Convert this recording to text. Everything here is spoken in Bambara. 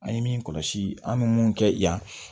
An ye min kɔlɔsi an bɛ mun kɛ yan